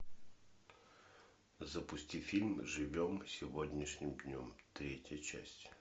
запусти фильм живем сегодняшним днем третья часть